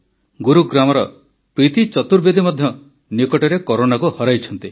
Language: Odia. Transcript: ଗୁରୁଗ୍ରାମର ପ୍ରୀତି ଚତୁର୍ବେଦୀ ମଧ୍ୟ ନିକଟରେ କରୋନାକୁ ହରାଇଛନ୍ତି